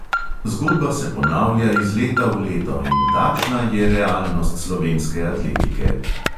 Zgodba se ponavlja iz leta v leto in takšna je realnost slovenske atletike.